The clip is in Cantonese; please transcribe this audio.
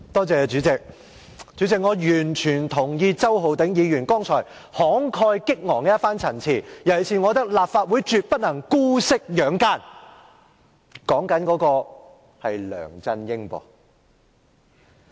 主席，我完全認同周浩鼎議員剛才一番慷慨激昂的陳辭，尤其是我認為立法會絕不能姑息養奸，但我指的是梁振英。